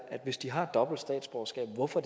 hvis de har et dobbelt statsborgerskab hvorfor